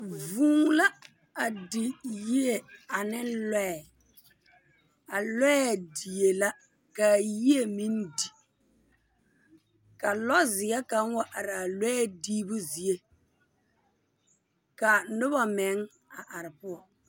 Vūū la a di yie ane lɔɛɛ. A lɔɛɛ die la kaa yie meŋ di ka lɔzeɛ kaŋ wa araa lɔɛ diibu zie. Ka noba meŋ a are poɔ